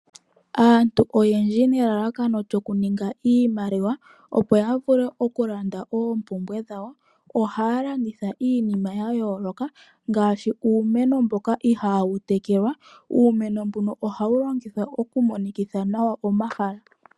Aantu oyendji nelalakano lyokuninga iimaliwa opo ya vule okulanda oompumbwe dhawo ohaya landitha iinima yayooloka ngaashi uumeno mboka ihawu tekelwa. Uumeno mbuno ohawu kongithwa okumonikitha nawa omahala.